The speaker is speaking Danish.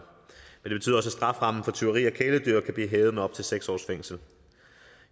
strafferammen for tyveri af kæledyr kan blive hævet med op til seks års fængsel